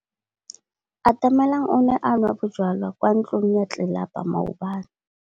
Atamelang o ne a nwa bojwala kwa ntlong ya tlelapa maobane.